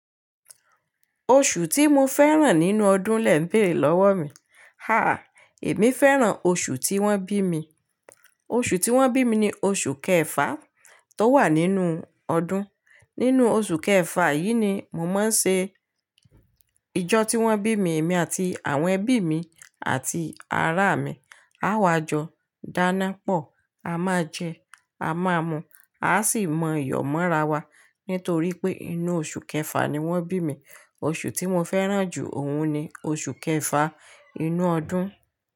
Oṣù tí mo fẹ́ràn nínú ọdún lẹ bèrè lọ́wọ́ mi. Ha! Èmi fẹ́ràn oṣù tí wọ́n bí mi. Oṣù tí wọ́n bí mi ni oṣù kẹfà tó wà nínú ọdún. Nínú oṣù kẹfà yìí ni mo máa ń ṣe ijọ́ tí wọ́n bí mi. Èmi àti àwọn ẹbí mi àti ará mi. Á wá jọ dáná pọ̀, a máa jẹ́, a máa mu, a sì mọ iyọ̀ mọ́ra wa. Nítorí pé inú oṣù kẹfà ni wọ́n bí mi. Oṣù tí mo fẹ́ràn jù òun ni oṣù kẹfà inú ọdún.